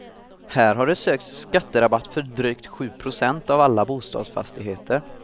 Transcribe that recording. Här har det sökts skatterabatt för drygt sju procent av alla bostadsfastigheter.